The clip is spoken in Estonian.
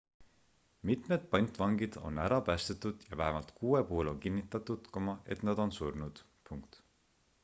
mitmed pantvangid on ära päästetud ja vähemalt kuue puhul on kinnitatud et nad on surnud